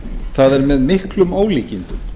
það er með miklum ólíkindum